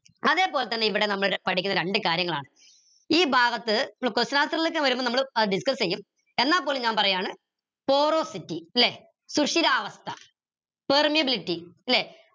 അതേപോലെതന്നെ ഇവിടെ നമ്മൾ പഠിക്കുന്ന രണ്ട് കാര്യങ്ങളാണ് ഈ ഭാഗത്ത് question answer ലേക്ക് വരുമ്പോ നമ്മൾ discuss എയും എന്നുപോലും ഞാൻ പറയാണ് ല്ലെ സുശീരാവസ്ഥ permeability ല്ലെ